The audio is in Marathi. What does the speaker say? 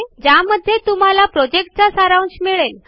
ज्यामध्ये तुम्हाला प्रॉजेक्टचा सारांश मिळेल